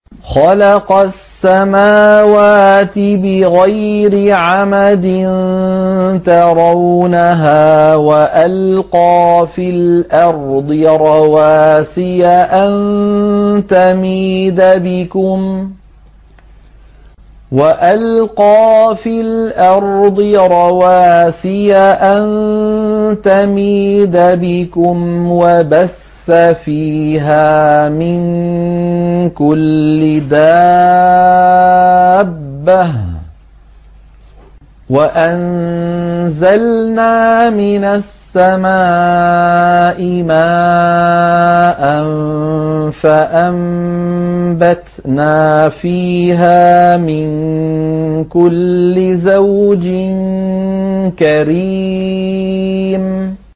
خَلَقَ السَّمَاوَاتِ بِغَيْرِ عَمَدٍ تَرَوْنَهَا ۖ وَأَلْقَىٰ فِي الْأَرْضِ رَوَاسِيَ أَن تَمِيدَ بِكُمْ وَبَثَّ فِيهَا مِن كُلِّ دَابَّةٍ ۚ وَأَنزَلْنَا مِنَ السَّمَاءِ مَاءً فَأَنبَتْنَا فِيهَا مِن كُلِّ زَوْجٍ كَرِيمٍ